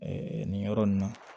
nin yɔrɔ nin na